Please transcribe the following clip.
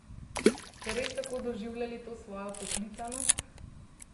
Ste res tako doživljali to svojo poklicanost?